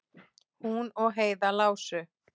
Hún og Heiða lásu